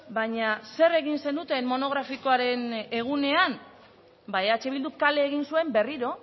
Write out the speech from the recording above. baina zer egin zenuten monografikoaren egunean ba eh bilduk kale egin zuen berriro